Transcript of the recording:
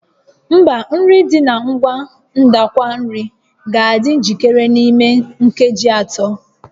Mba, nri dị na ngwa ndakwa nri ga-adị njikere n'ime nkeji atọ